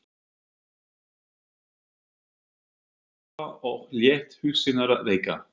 Elísa Hann lagðist upp í sófa og lét hugsanirnar reika.